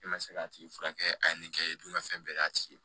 E ma se k'a tigi furakɛ a ye nin kɛ i dun ka fɛn bɛɛ d'a tigi ma